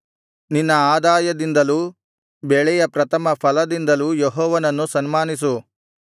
ನಿನ್ನ ಆದಾಯದಿಂದಲೂ ಬೆಳೆಯ ಪ್ರಥಮಫಲದಿಂದಲೂ ಯೆಹೋವನನ್ನು ಸನ್ಮಾನಿಸು